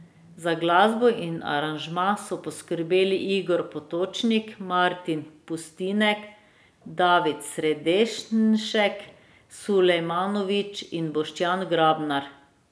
Za glasbo in aranžma so poskrbeli Igor Potočnik, Martin Pustinek, David Sredenšek, Sulejmanovič in Boštjan Grabnar.